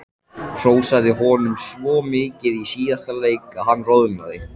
Hrósaði honum svo mikið í síðasta leik að hann roðnaði.